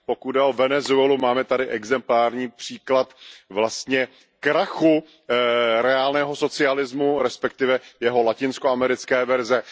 Pokud jde o Venezuelu, máme tady exemplární příklad vlastně krachu reálného socialismu, respektive jeho latinskoamerické verze.